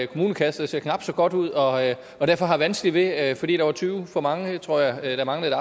kommunekasse der ser knap så godt ud og og derfor har vanskeligt ved at ordnet fordi der var tyve for mange tror jeg der manglede